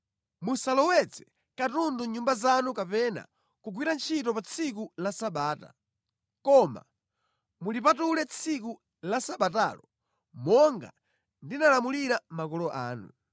Musalowetse katundu mʼnyumba zanu kapena kugwira ntchito pa tsiku la Sabata, koma mulipatule tsiku la Sabatalo, monga ndinalamulira makolo anu.